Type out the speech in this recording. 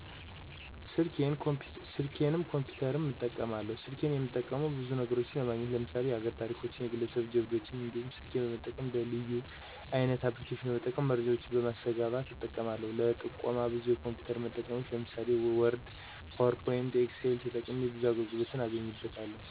ሰልኬንም ኮፒተርም እጠቀማለው። ሰልኬን እምጠቀመው ብዙ ነግሮችን ለማግኘት ለምሳሌ የሀገሬን ታሪኮች፣ የግለሰብ ጅብዶችን እንዲሁም ስልኬን በመጠቀም እንደ ልዩ (leyu) አይነት አፕልኬሺን በመጠቀም መረጃወችን በማሰገባት እጠቀማለው ለጥቆም ብዙ የኮምፒውተር መጠቀሚያወችን ለምሳሌ ወርድ፣ ፓውር ፖይንት፣ ኤክሴል ተጠቅሜ ብዙ አገልግሎቶችን አገኝበታለው።